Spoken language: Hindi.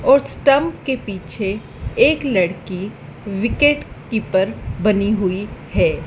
और स्टांप के पीछे एक लड़की विकेट कीपर बनी हुई है।